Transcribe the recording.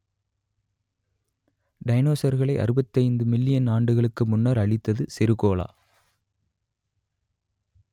டைனசோர்களை அறுபத்தைந்து மில்லியன் ஆண்டுகளுக்கு முன்னர் அழித்தது சிறுகோளே